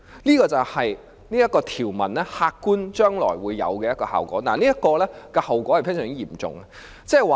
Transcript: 這便是此條條文將來會有的客觀效果，並帶來非常嚴重的後果。